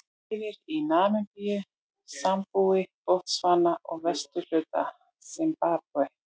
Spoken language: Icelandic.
Lifir í Namibíu, Sambíu, Botsvana og vesturhluta Simbabve.